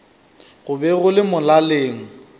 go be go le molaleng